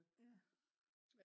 ja